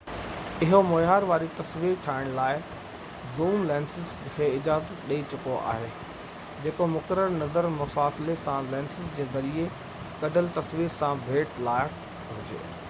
اهو معيار واري تصوير ٺاهڻ لاءِ زوم لينسز کي اجازت ڏيئي چڪو آهي جيڪو مقرر نظر مفاصلي سان لينسز جي ذريعي ڪڍيل تصوير سان ڀيٽ لائق هجي